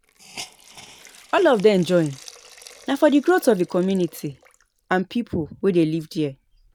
All of dem join na for di growth of di community and pipo wey de live there